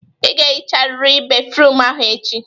Ị ga-ehicharịrị béfrụm ahụ echi!